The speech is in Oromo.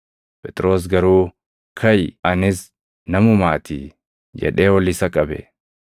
Phexros garuu, “Kaʼi! Anis namumaatii” jedhee ol isa qabe.